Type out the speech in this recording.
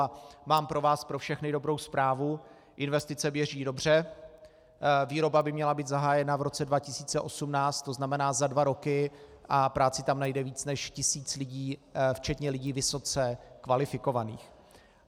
A mám pro vás pro všechny dobrou zprávu - investice běží dobře, výroba by měla být zahájena v roce 2018, to znamená za dva roky, a práci tam najde víc než tisíc lidí, včetně lidí vysoce kvalifikovaných.